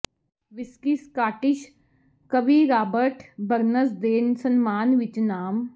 whisky Scottish ਕਵੀ Robert Burns ਦੇ ਸਨਮਾਨ ਵਿੱਚ ਨਾਮ